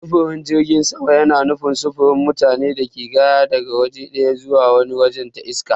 Sufurin jirgin sama yana nufin sufurin mutane da kaya daga waje ɗaya zuwa wani wajen ta iska.